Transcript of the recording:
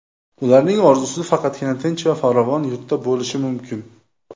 Ularning orzusi faqatgina tinch va farovon yurtda bo‘lishi mumkin.